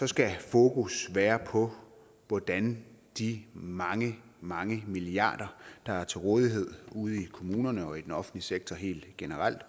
skal fokus være på hvordan de mange mange milliarder der er til rådighed ude i kommunerne og i den offentlige sektor helt generelt